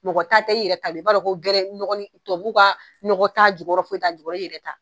Mɔgɔ ta tɛ, i yɛrɛ ta don, i b'a dɔn ko gɛrɛni nɔgɔni tubabu ka nɔgɔ t'a jukɔrɔ foyi t'a jukɔrɔ, i yɛrɛ ta.